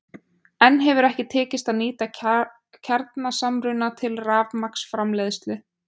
Enn hefur ekki tekist að nýta kjarnasamruna til rafmagnsframleiðslu.